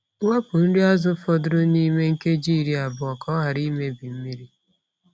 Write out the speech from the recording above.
Wepu nri azụ fọdụrụ n’ime nkeji iri abụọ ka ọ ghara imebi mmiri.